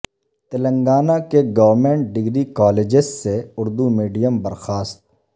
تلنگانہ کے government degree colleges سے Urdu medium برخاست